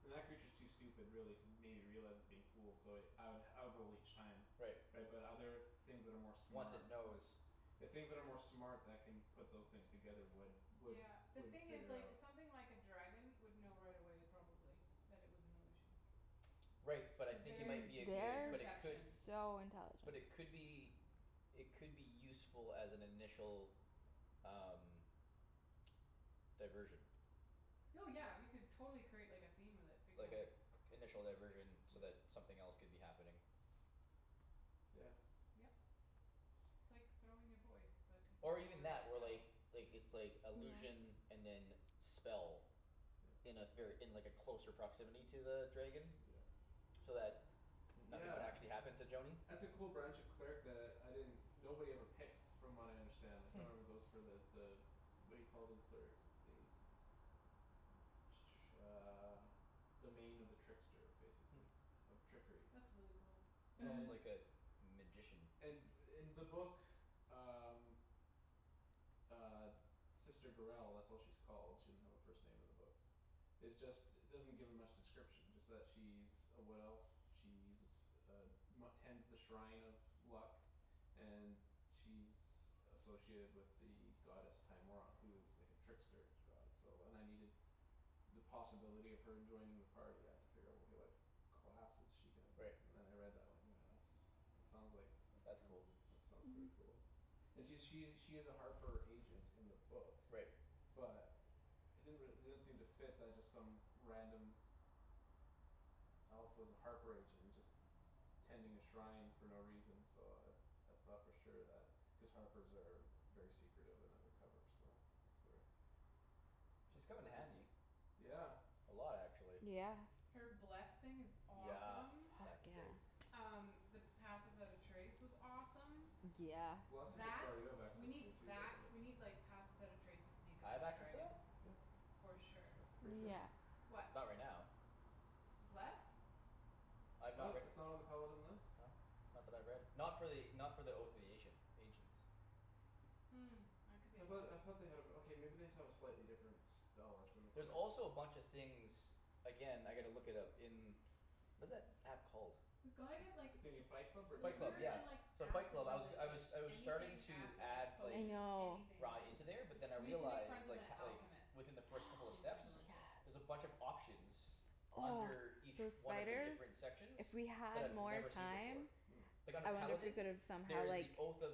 And that creature's too stupid really to maybe realize it's being fooled so I would I would roll each time. Right Right but other things that are more Once smart it knows. The things that are more smart that can Put those things together would would Yeah the Would thing is figure it like out. something like a dragon would know right away probably. That it was an illusion Right but I cuz think you their might be a good insane but it could They're perception. so But intelligent. it could be It could be useful as an initial um Diversion. Oh yeah you could totally create like a scene with it big Like time. a initial diversion so that something else could be happening. Yeah. Yep. It's like throwing your voice, but Or even your that or self. like like it's like illusion and then spell. Yeah. In a ver- in like a closer proximity to the dragon. Yeah So that nothing would actually Yeah happen to Joany. that's a cool branch of cleric that I didn't Nobody ever picks from what I understand like No Hmm one ever goes for the the What do you call it in clerics it's the Uh Domain of the trickster Hmm basically. Of trickery. That's really cool. It's almost like And Mhm a magician. And in the book uh Uh Sister Gurell that's what she's called she didn't have her first name in the book. Is just doesn't give me much description it's just she's A wood elf. She's uh Tends the shrine of luck And she's Associated with the goddess Timora who is like a trickster god so and I needed The possibility of her joining the party I had to figure out okay what Class is she gonna be Right. and then I read that line oh yeah that's that sounds like That's That's cool. cool. That sounds pretty Mhm. cool And she she's a harper agent in the book Right. But It didn't re- it didn't seem to fit that just some random Elf was a harper agent and just Tending a shrine for no reason so uh I thought for sure that cuz harpers are Very secretive of undercover so that's where She's Tha- come in that seems like handy. yeah A lot actually. Yeah Her bless thing is Yeah awesome. Fuck that's yeah great. Um the pass without a trace was awesome Yeah Bless is a That spell you have we access need to too though that right we Ye- need like pass without a trace to sneak I up have on a access to dragon. that? Yeah For sure. That's pretty sure Yeah What? Not right now Bless? I I'm not thought right it it's not on the paladin list? Not that I've read. Not for the not for the oath of the Asian ancients. Hmm, that could be I a thought lie. I thought they had a okay maybe they just have a slightly different Spell list than the There's clerics also a bunch of things Again I gotta look it up in Was that app called? We've gotta get like The thing in Fight Club or Fight Club DND silver yeah. and like beyond? So Fight Acid Club. I was g- I was resistance. I was starting Anything to acid. add Like I like potions, know. anything. Rye into there but then I We need to make friends realized with like an h- like alchemist Within the first couple of in steps Neverwinter. There's a Yes bunch of options Oh Under each those one of the spiders different sections If we That had I've more never seen before. time Hmm Like under I wonder if we Paladin, could've there somehow is like the oath of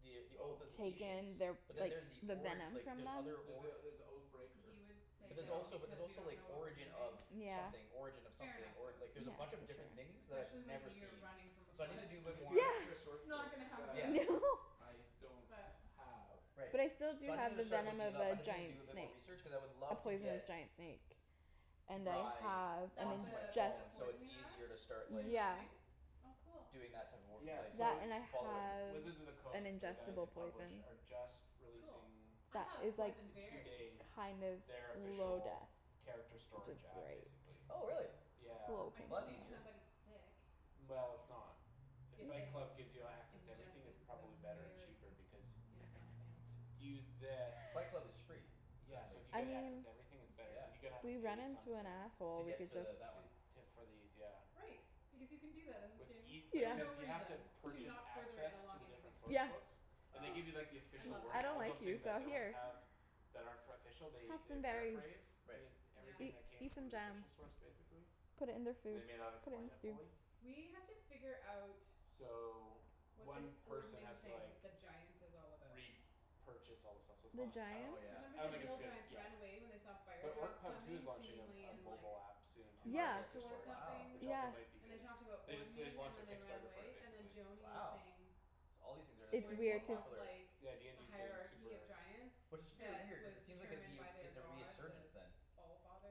The oath of Oath the ancients. Taken their But then like Yeah there's the the ori- venom like from there's them other There's the org there's the oath breaker He would Did you say But see there's that one? that also there's because we also don't like know what we're origin of doing Yeah Something origin of Fair something enough or- Yeah like though. there's a bunch of different things for sure that I've Especially when never you're seen. running from a There's So I need to flood. a do a there's bit a more few extra Yeah source Not books gonna yeah that happen. I don't But have Right. But I still do So i needed have Which to the start venom looking of it up. I the just need to giant do a bit more snake research cuz I would A love to poisonous get giant snake And I Rye have an That's onto my the the phone ingest so it's poison you have easier to start in like the yeah thing? Oh cool Doing that type of wor- Yeah like That so and I following. have Wizards of the an Coast the guys ingestible who poison. publish are just Cool. Releasing I That have is like poison in two berries. days kind of Their slow official death character Which is storage app great. basically. Oh really. Yeah Slow I Well painful could that's make easier. death. somebody sick Well it's not If If Fight they Club gives you access to everything it's ingested the probably better and cheaper berries because in something. To to use this Fight Club is free Yeah currently so if you I get access mean to everything it's better Yeah cuz you're gonna have to We pay run into an something. To asshole we get could just to that one To to for these yeah. Right, because you can do that in this What's game. eas- For Yeah no cuz you have to reason. To Purchase not further access to along the anything. different source Yeah books And they Ah give you like the I official love I wording that. don't all like the you things so that don't here have That are for official they Have they some berries, paraphrase Right Yeah everything eat that came eat some from the jam official source basically. Put it in their And they food. may not Put it explain in it stew. fully. We have to figure out So What this One person ordening has to thing like with the giants is all about. re-purchase all the stuff so it's The not I don't Oh think it's giants? Cuz good yeah. remember I the don't think it's hill good giants ran yet. away when they saw The fire orc giants pub too is coming launching a seemingly a in like mobile app Soon A too Yeah for march character toward storage Wow which something yeah also might be And they good talked about They just they just ordening and launched their then they ran Kickstarter for it away, and then basically. Joany was Wow saying so all these things are like It's getting more weird Ordening cuz was popular. like Yeah The DND's getting hierarchy of super giants Which is fear That weird cuz was it seems like it'd determined be by their it's a god resurgence the then.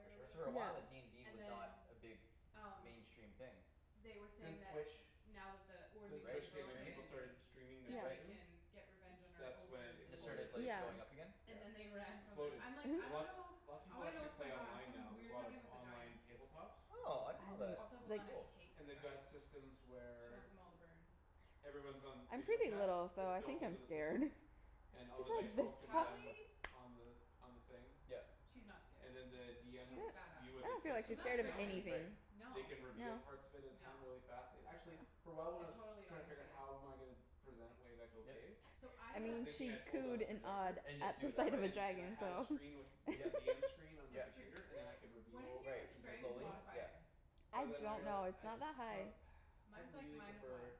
For or sure. Cuz for whatever a while uh Yeah DND and was not then a big Um mainstream thing they were saying Since that Twitch Now that the since ordening Right is Twitch came in people streaming broken started streaming their Yeah Then we right sessions. can get revenge It's on our that's when over it It just rulers exploded. started or like whatever. going up Yeah again? And then they Yeah ran from them. Exploded I'm like, "I and dunno. lot Lots of I people wanna know actually what's play going on." online Something now. There's a weird's lot of happening with the online giants. tabletops Oh I I didn't know that. Also didn't like Velana Cool. hates They've got giants. systems She wants where them all to burn. Everyone's on I'm video pretty little chat. so It's I built think into I'm the scared. system And She's all the like dice this rolls can be tough done with Cali On the on the thing Yep She's not scared. And then the DM has She's a s- badass. view where I they don't feel place like the You're she's not mat scared of afraid of down and anything. Right anything. No. They can No reveal parts of it at a No. time really fast and actually For a while when I I was totally don't trying to think figure she is. how am I gonna Present it wave echo Yep cave So I I I was have mean thinking she I'd pull down the cooed and awwed projector And at just do the it that sight of a way. And and I dragon had a so screen with With a Yep DM screen on the It's yep true. computer and then I could What is Reveal Right your sections as we strength go slowly yep modifier? I But then I don't rea- know, it's I not that I high. thought I'd Mine's like really minus prefer one.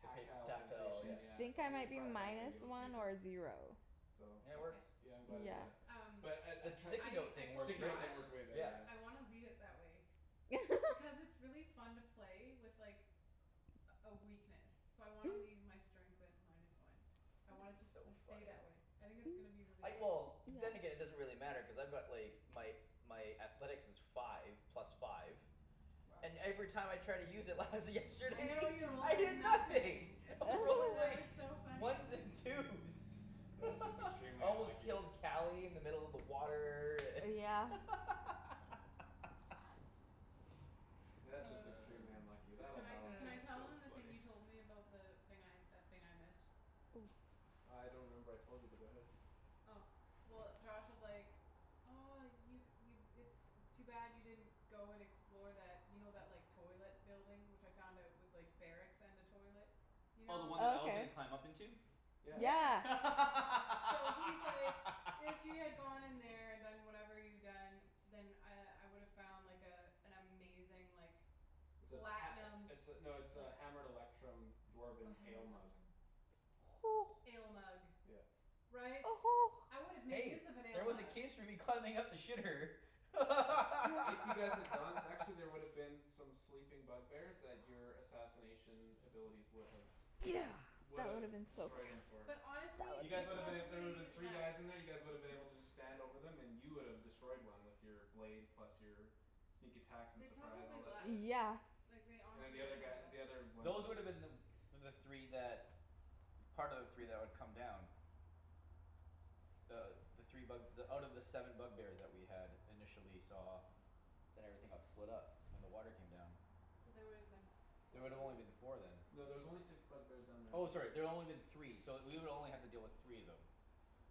The pap- tactile sensation yep I yeah think so I I'm gonna might be try to find a way to minus do it with one or paper. zero. So Yeah it Okay works yeah I'm glad I did Yeah that. Um But I I The sticky trie- I note I thing works told Josh Sticky great note thing I was way better yeah yeah. wanna leave it that way. Because it's really fun to play with like A a weakness. So I wanna leave my strength at minus one. I want it It's to so s- stay funny. that way. I think it's gonna be really I fun. well then again Yeah it doesn't really matter cuz I've got like My my athletics is five plus five Wow And every time I tried to use it lies I yesterday know you rolled I like hear nothing. nothing. I was rolling That like was so funny. Ones and twos That's just extremely I almost unlucky. killed Cali in the middle of the water and Oh yeah That's just extremely unlucky. That'll Can I balance can I tell out. So them the thing funny you told me about the thing I that thing I missed? Oh I don't remember what I told you but go ahead. Oh well Josh was like, "Oh you you it's it's too bad you didn't go and explore that." You know that like toilet building which I found out was like Barracks and a toilet? You Oh the one know? that I was Okay gonna climb up into? Yeah Yeah. Yeah So he's like, "If you had gone in there and done whatever you'd done." Then I I would've found like a An amazing like It's a Platinum pat- it's a no it's like a hammered electrum Oh dwarven hammer ale mug. electrum Ale mug. Yeah Right? I would've made Hey use of an ale there was a mug. case for me climbing up the shitter If you guys had gone actually there would've been some sleeping bug bears that your assassination abilities would have Yeah that woulda been Would've so destroyed 'em for But That honestly, You woulda guys they woulda been been a- so there woulda been probably three guys left. in there you guys woulda been able to just Stand over 'em and you would've destroyed one with Your blade plus your Sneak attacks and They surprise all probably that left. shit. Yeah Like they And the honestly they other guy probably the other left. ones Those would woulda them the the three that Part of the three that would come down Uh the three bug out of the seven bug bears that we had initially saw Then everything got split up when the water came down. So they woulda been There four would've only been four then. No there's only six bug bears down there in Oh total. sorry there only been three so we would only have to deal with three of them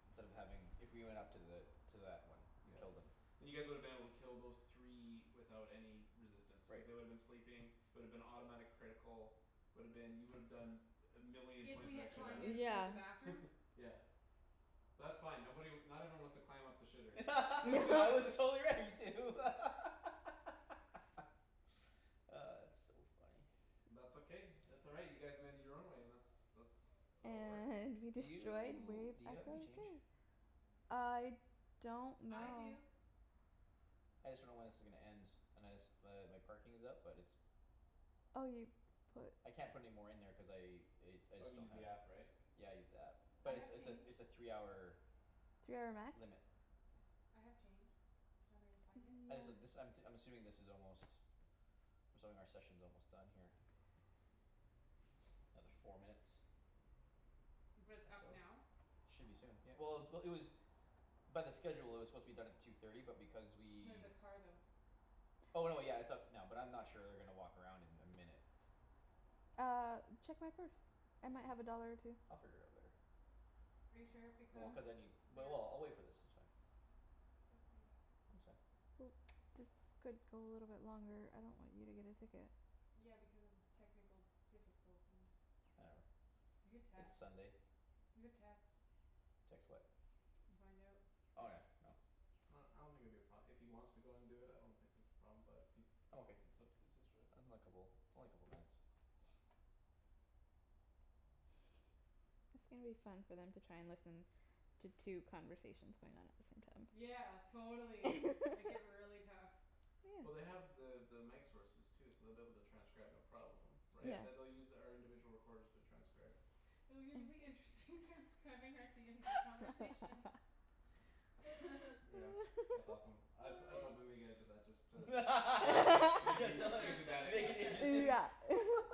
Instead of having if we went up to the to that one and Yeah killed 'em. and you guys woulda been able to kill those three Without any resistance cuz Right they woulda been sleeping Would've been automatic critical Would've been you would've done A million If points we of had extra climbed in damage through Yeah the bathroom? Yeah That's fine nobody not everyone wants to climb up the shitter I was totally ready to It's so funny. That's okay that's all right you guys made it your own way that's that's how it works. And we Do destroyed you Wave do you have any Echo change? Cave. I don't I know do I just dunno when this is gonna end and I just but my parking is up but it's Oh you put I can't put any more in there cuz I i- I Oh just you don't used the have app right? Yeah I used the app I but it's have it's a change. it's a three hour Three hour max limit I have change. Do you want me to go find it? I just uh this Yeah I'm t- I'm assuming this is almost I'm assuming our session's almost done here Another four minutes. But it's Or so. up now? Should be soon yeah. Well it was it was by the schedule it was supposed to be done at two thirty but because we No the car though. Oh no yeah it's up now but I'm not sure they're gonna walk around in a minute. Uh check my purse. I might have a dollar or two. I'll figure it out later. Are you sure? Well Because cuz I need but they're well I'll wait for this it's fine. Okay It's fine. Well this could go a little longer I don't want you to get a ticket. Yeah because of technical difficulties. Whatever, You could it's text. Sunday. You could text. Text what? And find out Oh yeah no Well I don't think it'd be a pro- if he wants to do it I don't think it'd be a problem but if he I'm okay. it's up it's his choice. Unlikeable it's only a couple minutes. It's gonna be fun for them to try and listen to two conversations going on at the same time. Yeah totally make it really tough. Well they Yeah have the the mic sources too so they'll be able to transcribe no problem Yeah. Yeah Right they they'll use our individual recorders to transcribe. Oh it'll be really interesting transcribing out DND conversations. Yeah that's awesome. I was I was hoping we would get into that just to make it that make you Just to like make it that make it interesting. interesting Yeah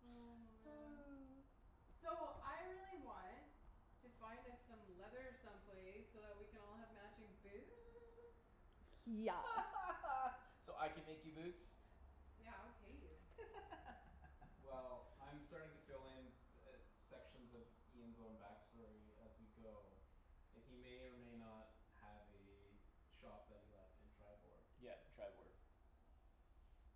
Oh man So I really want to find us some leather some place so that we can all have matching boots. Yes So I can make you boots? Yeah I would pay you. Well I'm starting to fill in t- uh sections of Ian's own back story as we go And he may or may not Have a shop that he left in Triboar. Yeah Triboar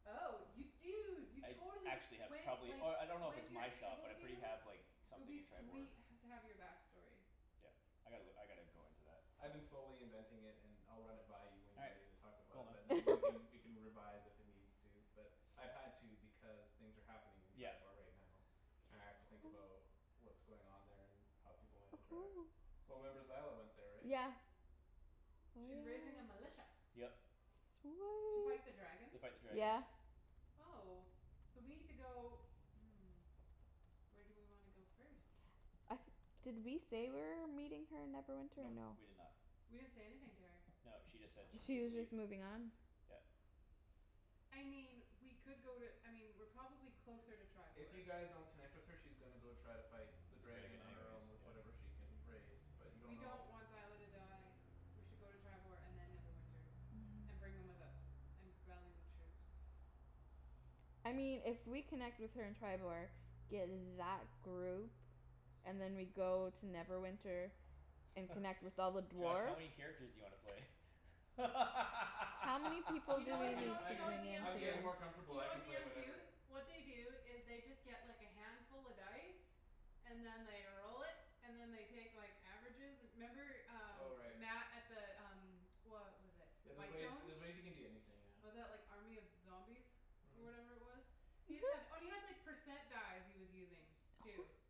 Oh you I dunno dude you I totally actually sh- have when probably like oh I don't know if When it's you're my shop able but I pretty to have like It would Something be in Triboar. sweet h- to have your back story. Yeah I gotta look I gotta go into that. I've been slowly inventing it and I'll run it by you When All you're right ready to talk about cool it man. but then we can We can revise if it needs to but I've had to because things are happening In Yeah Triboar right now, and I have to think about What's going on there and how people might interact. Well remember Zyla went there right? Yeah Oh She's raising a militia. yeah Yep To fight the dragon? To fight the Sweet dragon. yeah Oh. So we need to go Where do we wanna go first? Uh did we say we're meeting her in Neverwinter or Nope no? we did not We didn't say anything to her. No, she just said she She needed to was leave. just moving on? Yeah I mean we could go to I mean we're probably closer to If Triboar. you guys don't connect with her she's gonna go try to fight The The dragon dragon on her anyways own with yeah. whatever she can raise. But you don't We know don't want Zyla to die. We should go to Triboar and then Neverwinter, and bring them with us, and rally the troops. I mean if we connect with her in Triboar, get that group And then we go to Neverwinter And connect with all the Josh how dwarves many characters do you wanna play? How many people You do know we I what you can need know you I to know what bring can into DMs I'm do? getting more this? Do comfortable you know I can what play DMs do? whatever What they do is they just get like a handful of dice. And then they roll it, and then they take like averages and 'member Oh um right. Matt at the um What was it Yeah there's ways Whitestone? there's ways you can do anything yeah. Was that like army of zombies? Or Mhm whatever it was? He just had oh and he had percent dice he was using too.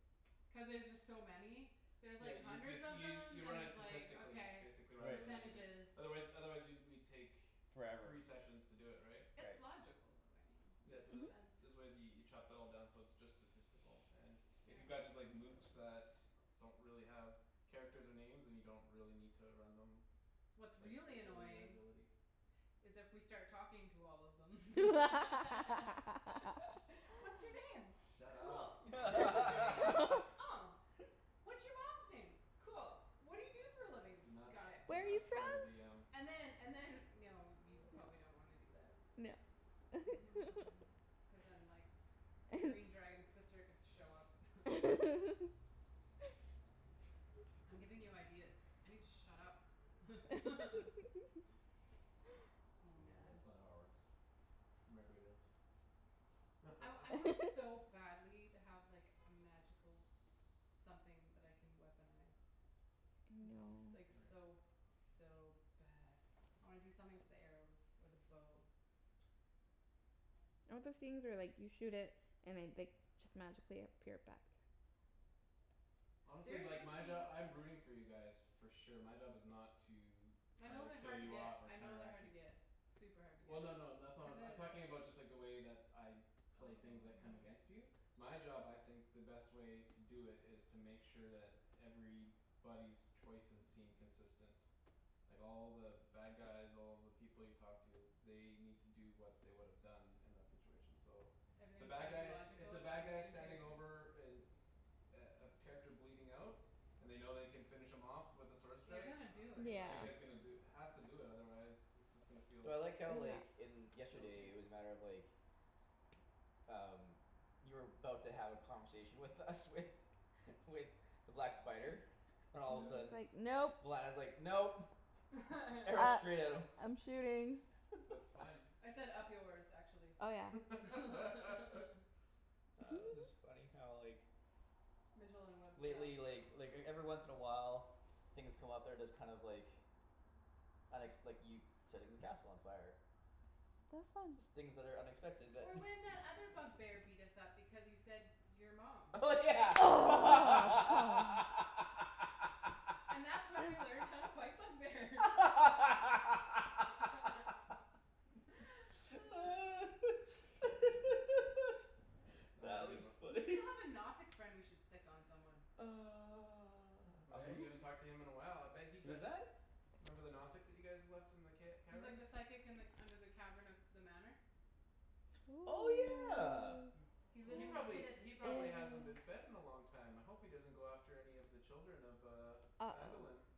Cuz there's just so many There's Yeah like you hundreds just of use them you you then run it he's like statistically okay basically rather Right than individual Percentages. Otherwise otherwise we'd we'd take Forever. Three sessions to do it right? It's Right. logical though I mean Yeah makes so Mhm there's sense. there's ways you you chop that all down so it's just statistical and If you Yeah got just like Lukes that Don't really have characters or names then you don't really need to run them Like What's really annoying ability is if we start talking to all of them. What's your name? Shut Cool. up don't give What's your them any name? id- Oh What's your mom's name? Cool. What do you do for a living? Do not Got it. do Where're you not troll the from? DM And then and then no we probably don't wanna do that. No Cuz then like Green dragon's sister could show up I'm giving you ideas. I need to shut up Oh Yeah man that's not how it works. I I want so badly to have like a magical Something that I can weaponize. I'm s- No like so so bad I wanna do something to the arrows or the bow. I want those things where like you shoot it and I like just magically appear back. Honestly There's like my job something I'm rooting for you guys. For sure my job is not to My Try know to they're kill hard to you get off or I know they're counteract hard to you get Super hard to Well no no that's get. Cuz not then I'm talking about it's like just the way that I play things that come against Oh you My job I think the best way To do it is to make sure that Everybody's choices seem consistent Like all the bad guys all the people you talk to They need to do what they would've done In that situation so The Everything's bad gotta be guys if logical the bad guys in Standing character? over an A a character bleeding out And they know they can finish him off With a sword They're strike gonna do the it. Yeah bad guy's gonna do Has to do that otherwise It's just gonna feel Well I like how like Yeah in feel yesterday it cheap was a matter of like Um You were 'bout to have a conversation with us with With the black spider and all of And a then he's sudden Yeah like, "Nope." when I was like, "Nope", arrow Uh straight at him I'm shooting. That's fine I said, "Up yours", actually, Oh yeah Oh it was just funny how like Mijolin Webb style. Lately like like everyone once in a while Things come up they're just kind of like Unexp- like you setting the castle on fire. That was fun Things that are unexpected that Or when that other bug bear beat us up because you said, "Your mom." Oh yeah And that's when we learned how to fight bug bears That was a That good was one. We funny. still have a Nothic friend we should sic on someone. Oh Uh yeah you who? haven't talked to him in a while I bet he Who's got that? Remember the Nothic that you guys left in the ca- He's like cavern? the psychic and like under the cavern of the manor. Oh yeah He lives He in the probably pit of he probably despair. hasn't been fed in a long time I hope he doesn't go after any of the children of uh Uh oh. Phandalin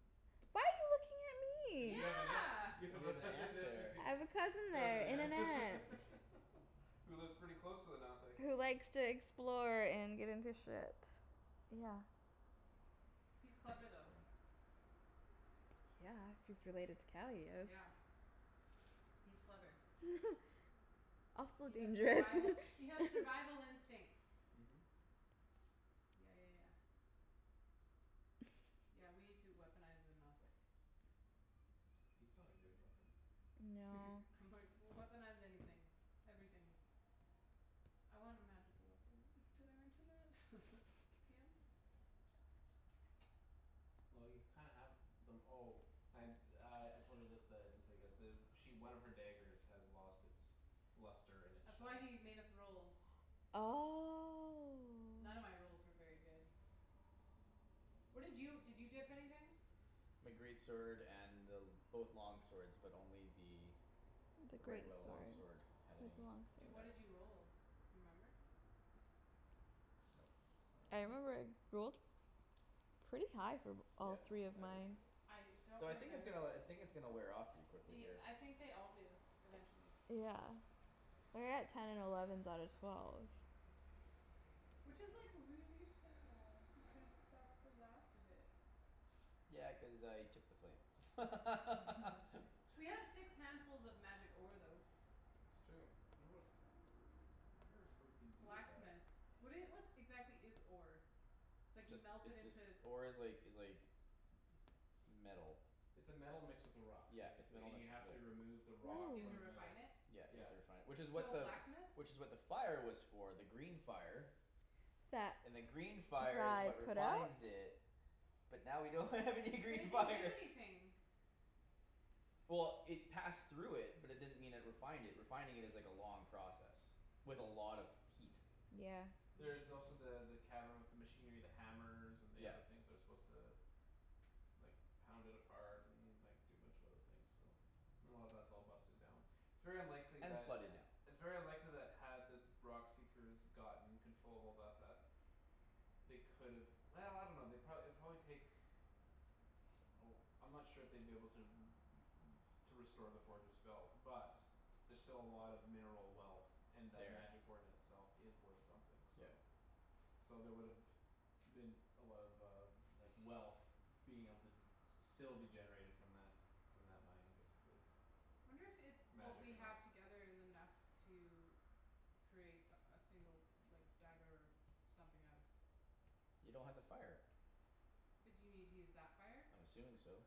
Why are you looking at Cuz you me? have a Yeah ne- you have You have an a aunt nephew there there I have a cousin there Cousin and an yeah aunt. Who lives pretty close to the Nothic. Who likes to explore and get into shit. Yeah. He's That's funny. clever though. Yeah, he's related to Calius Yeah He's clever. Also He has dangerous survival he has survival instincts. Mhm Yeah yeah yeah Yeah we need to weaponize the Nothic. He's not a good at weapon. No I'm like, "Weaponize anything. Everything." I want a magical weapon. Did I mention that? DM? Well you kinda have them oh And uh I told her this that I didn't tell you guys the She one of her daggers has lost its Luster and its That's why shine he made us roll. None of my Oh rolls were very good. What did you did you dip anything? My great sword and both long swords but only the The The great regular long sword sword had with the any long Di- what effect. did you sword roll? Remember? Nope, I don't I remember remember. rolled Pretty high for b- all Yeah three of I did. mine. I don't Though I think it's remember uh I the think it's gonna wear off pretty quickly y- here. I think they all do eventually. Yeah Like I got ten and elevens out of twelve. Which is like really sad because that's the last of it. Yeah cuz I took the flame We have six handfuls of magic ore though. It's true um I wonder what I wonder what you can do with that. Blacksmith. What do you what exactly is ore? It's like you Just melt it it's just into ore is like is like Metal. It's a metal mixed with a rock Yeah, it's Basically metal and you mixed have with the to remove the Re- so rock you have From to the refine metal. it? Yeah you have Yeah to refine it which is what So the blacksmith? Which is what the fire was for the green fire That And then green fire is I what put out? refines it. But now we don't have any But it green didn't do fire anything. Well it passed through it but it didn't mean it refined it refining is like a long process. With a lot of heat. Yeah There's also the the cavern with the Machinery the hammers and the other Yep. things They're supposed to like Pound it apart and like do a bunch of other things so And a lot of that's all busted down It's very unlikely And flooded that now. It's very unlikely that had the rock seekers gotten controllable about that They could've I dunno they'd pro- it'd probably take Oh I'm not sure if they'd be able to r- r- To restore the forge's spells but There're still a lot of mineral wealth And that There magic ore in itself is worth something so Yep So there would've been a lot of uh like wealth Being able to still be generated from that From that mine basically. Wonder if it's what Magic we or have not together is enough to Create a a single like dagger something out of You don't have the fire. But do you need to use that fire? I'm assuming so.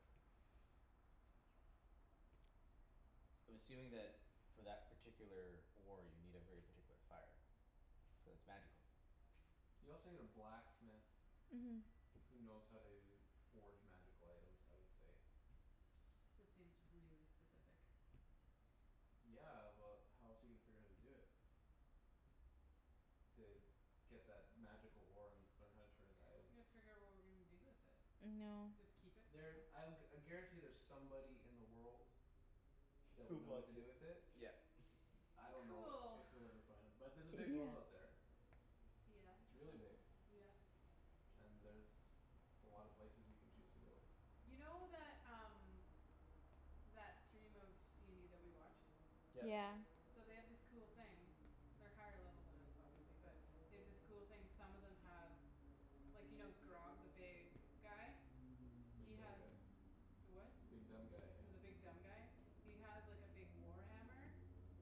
I'm assuming that for that particular ore you need a very particular fire. Cuz it's magical. You also need a blacksmith Mhm Who knows how to forge magical items I would say. That seems really specific. Yeah but how else are you gonna figure out how to do it? To get that magical ore and learn how to turn it into items. Yeah figure out what we're gonna do with it. No Just keep it for There now? I'll I guarantee there's somebody in the world. That Who would know what to wants do it? with it. Yeah It's j- I don't know Cool if you'll ever find him. But there's a big world out Yeah there. Yeah It's really big. yeah And there's a lot of places you can choose to go. You know that um That stream of DND that we watch? Yep Yeah So they have this cool thing They're higher level than us obviously but they have this cool thing some of them have Like you know Grogg the big guy? The He big dumb has guy the what? The big dumb guy yeah. The big dumb guy? He has like a big war hammer